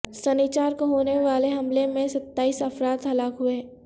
سنیچر کو ہونے والے حملے میں ستائیس افراد ہلاک ہوئے